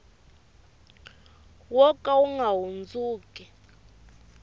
wo ka wu nga hundzi